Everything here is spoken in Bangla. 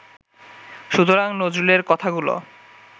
সুতরাং নজরুলের কথাগুলো